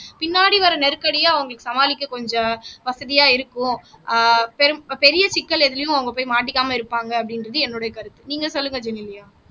பின்னாடி வர்ற நெருக்கடியை அவங்களுக்கு சமாளிக்க கொஞ்சம் வசதியா இருக்கும் அஹ் பெரும் பெரிய சிக்கல் எதுலயும் அவங்க போய் மாட்டிக்காம இருப்பாங்க அப்படின்றது என்னுடைய கருத்து நீங்க சொல்லுங்க ஜெனிலியா